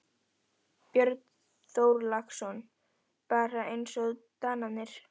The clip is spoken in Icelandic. Björn Þorláksson: Bara eins og Danirnir?